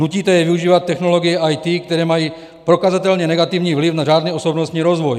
Nutíte je využívat technologie IT, které mají prokazatelně negativní vliv na řádný osobnostní rozvoj.